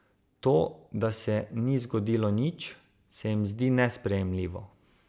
To, da se ni zgodilo nič, se jim zdi nesprejemljivo.